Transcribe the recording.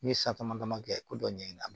N'i ye san dama dama kɛ ko dɔ ɲɛ